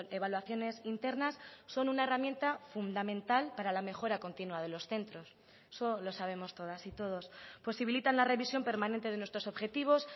evaluaciones internas son una herramienta fundamental para la mejora continua de los centros eso lo sabemos todas y todos posibilitan la revisión permanente de nuestros objetivos